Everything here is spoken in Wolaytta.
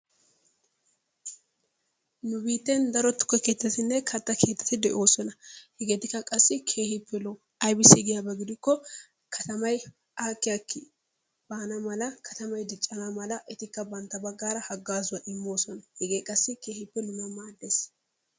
Nu biitten daro tukke keettatinne kata keetati de'oosona. hegeetikka qassi keehippe lo'o aybissi giyaba gidikko katamay aakki aakki baana mala katamay diccana mala etikka bantta baggaara hagaazzuwa immoosona. Hegee qassi keehippe nuna maaddees.